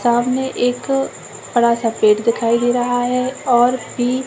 सामने एक बड़ा सा पेड़ दिखाई दे रहा है और भी --